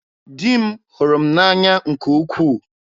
Di m hụrụ m n'anya nke ukwuu.